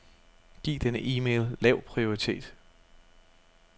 Giv denne e-mail lav prioritet.